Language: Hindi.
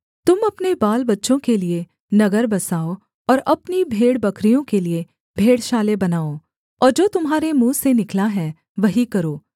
तुम अपने बालबच्चों के लिये नगर बसाओ और अपनी भेड़बकरियों के लिये भेड़शालाएँ बनाओ और जो तुम्हारे मुँह से निकला है वही करो